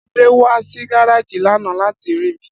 Ade wa si gareji lana lati ri mi.